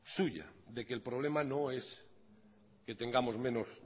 suya de que el problema no es que tengamos menos